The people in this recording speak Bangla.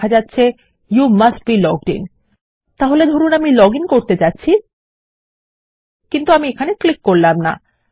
দেখা যাচ্ছে you must be logged in তাহলে ধরুন আমি লগইন করতে যাচ্ছি কিন্তু আমি এখানে ক্লিক করব না